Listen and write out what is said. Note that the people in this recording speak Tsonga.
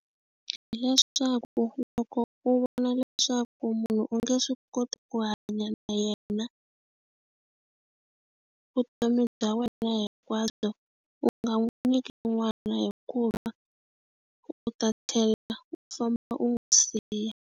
Hileswaku loko u vona leswaku munhu u nge swi koti ku hanya na yena vutomi bya wena hinkwabyo u nga n'wi nyiki n'wana hikuva u ta tlhela u famba u n'wi siya.